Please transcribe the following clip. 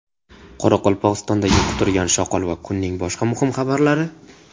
Qoraqalpog‘istondagi quturgan shoqol va kunning boshqa muhim xabarlari.